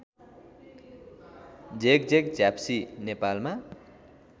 झेकझेक झ्याप्सी नेपालमा